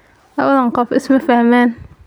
Labadan qof isma fahmaan.